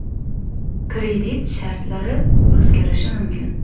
Kredit shartlari o‘zgarishi mumkin.